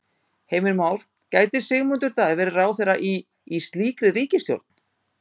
Heimir Már: Gæti Sigmundur Davíð verið ráðherra í, í slíkri ríkisstjórn?